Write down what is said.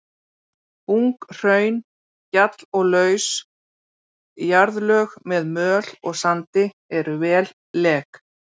Ung hraun, gjall og laus jarðlög með möl og sandi eru vel lek.